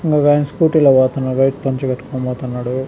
ఒకైనా scooty లో పోతున్నాడు white పంచకట్టుకొని పోతున్నాడు .